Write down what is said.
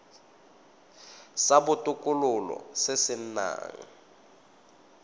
sa botokololo se se nang